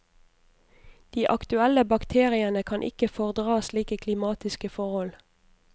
De aktuelle bakteriene kan ikke fordra slike klimatiske forhold.